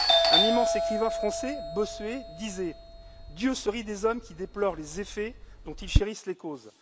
Un immense écrivain français, Bossuet, disait Dieu se rit des hommes qui déplorent les effets dont ils chérissent les causes.